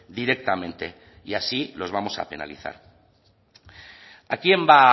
directamente y así los vamos a penalizar a quién va